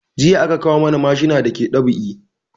Jiya aka kawo mana mashina da ke dab'i